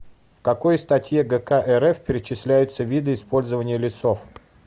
в какой статье гк рф перечисляются виды использования лесов